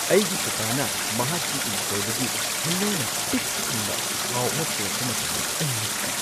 ꯑꯩꯒꯤ ꯀꯥꯀꯥꯅ ꯃꯍꯥꯛꯀꯤ ꯏꯪꯈꯣꯜꯗꯒꯤ ꯍꯩꯅꯧꯅ ꯄꯤꯛ ꯊꯟꯕ ꯈꯥꯎ ꯑꯃ ꯄꯨꯔꯛꯄ ꯃꯇꯝꯗ ꯑꯩ ꯉꯛꯈꯤ꯫